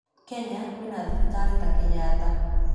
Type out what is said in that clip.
Kenya kuna hospitali kama Kenyatta.